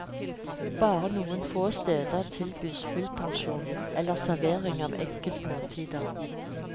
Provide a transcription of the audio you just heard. Bare noen få steder tilbys fullpensjon eller servering av enkeltmåltider.